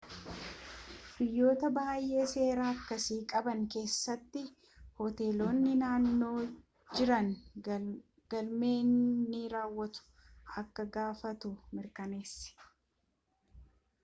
biyyoota baayyee seera akkasii qaban keessatti hoteelonni naannoo jiran galmee ni raawwatu akka gaafattu mirkaneessi